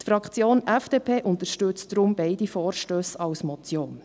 Die Fraktion FDP unterstützt deshalb beide Vorstösse als Motion.